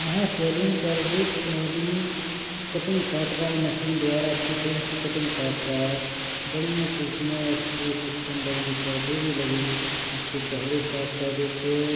यहाँ सैलून पर एक आदमी कटिंग काट रहा है मशीन द्वारा अच्छी फैन्सी कटिंग काट रहा है बढ़ियां कुर्सीयां है पर्दे भी लगे है अच्छे चेहरा साफ कर देते --